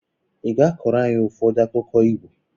ị ga-akọrọ anyị ụfọdụ akụkọ Igbo?